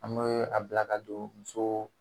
An mɛ a bila ka don muso